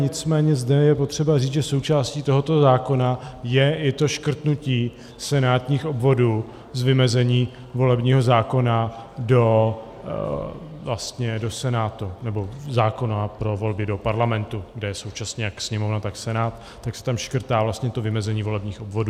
Nicméně zde je potřeba říct, že součástí tohoto zákona je i to škrtnutí senátních obvodů z vymezení volebního zákona do Senátu, nebo zákona pro volby do Parlamentu, kde je současně jak Sněmovna, tak Senát, tak se tam škrtá vlastně to vymezení volebních obvodů.